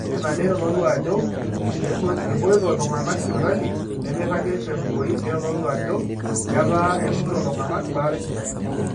ore ina neitodolu ajo epoito iltung'anak sipitali nemeiragi tenkumoi neitodolu ajo etaa etumito iltung'anak baata esidai